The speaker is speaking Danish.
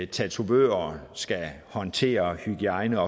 tatovører skal håndtere hygiejne